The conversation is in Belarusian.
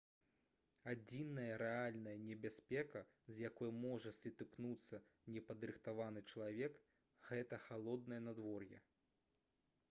адзіная рэальная небяспека з якой можа сутыкнуцца непадрыхтаваны чалавек гэта халоднае надвор'е